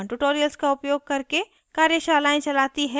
spoken tutorials का उपयोग करके कार्यशालाएं चालती है